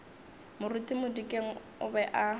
moruti modikeng o be a